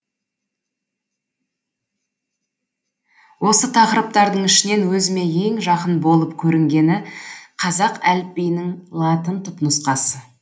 осы тақырыптардың ішінен өзіме ең жақын болып көрінгені қазақ әліпбиінің латын түпнұсқасы